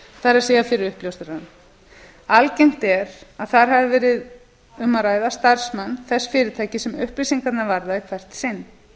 það er fyrir uppljóstrarann algengt er að þar hafi verið um að ræða starfsmann þess fyrirtækis sem upplýsingarnar varða í hvert sinn